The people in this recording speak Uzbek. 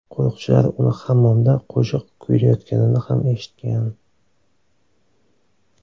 Qo‘riqchilar uni hammomda qo‘shiq kuylayotganini ham eshitgan.